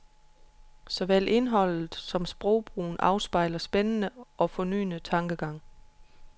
Såvel indholdet som sprogbrugen afspejler hans spændende og fornyende tankegang.